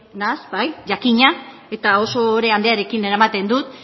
naiz bai jakina eta oso ohore handiarekin eramaten dut